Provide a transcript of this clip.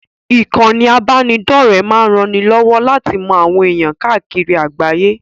Ìkànnì ìbánidọ́rẹ̀ẹ́ máa ranni lọ́wọ́ láti mọ àwọn ẹ̀ẹ̀yàn káàkiri àgbáyé.